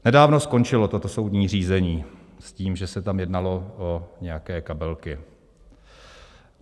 Nedávno skončilo toto soudní řízení s tím, že se tam jednalo o nějaké kabelky.